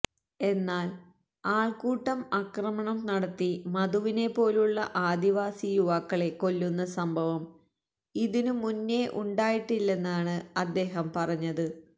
എന്നാല് ആള്ക്കൂട്ടം ആക്രമണം നടത്തി മധുവിനെപ്പോലുള്ള ആദിവാസി യുവാക്കളെ കൊല്ലുന്ന സംഭവം ഇതിനു മുന്നേ ഉണ്ടായിട്ടില്ലെന്നാണ് അദ്ദേഹം പറഞ്ഞത്